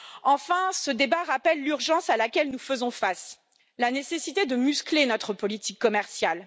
Enfin, ce débat rappelle l'urgence à laquelle nous sommes confrontés, la nécessité de muscler notre politique commerciale.